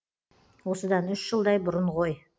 осыдан үш жылдай бұрын ғой